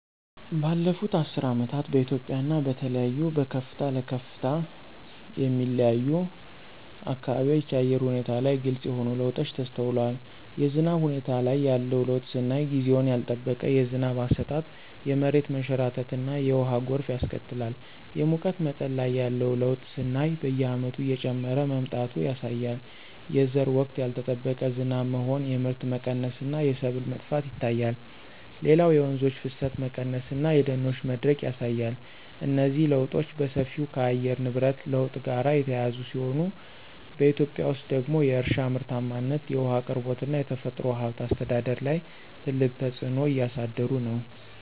ባለፉት አስርት ዓመታት በኢትዮጵያ እና በተለይም በከፍታ ለከፍታ የሚለያዩ አካባቢዎች የአየር ሁኔታ ላይ ግልጽ የሆኑ ለውጦች ተስተውለዋል። የዝናብ ሁኔታ ላይ ያለው ለውጥ ስናይ ጊዜውን ያልጠበቀ የዝናብ አሰጣጥ የመሬት መንሸራተትና የውሃ ጎርፍ ያስከትላል። የሙቀት መጠን ላይ ያለው ለውጥ ስናይ በየዓመቱ እየጨመረ መምጣቱ ያሳያል። የዘር ወቅት ያልጠበቀ ዝናብ መሆን የምርት መቀነስ እና የሰብል መጥፋት ይታያል። ሌላው የወንዞች ፍሰት መቀነስ እና የደኖች መድረቅ ያሳያል። እነዚህ ለውጦች በሰፊው ከየአየር ንብረት ለውጥ ጋር የተያያዙ ሲሆን፣ በኢትዮጵያ ውስጥ ደግሞ የእርሻ ምርታማነት፣ የውሃ አቅርቦት እና የተፈጥሮ ሀብት አስተዳደር ላይ ትልቅ ተጽዕኖ እያሳደሩ ነው።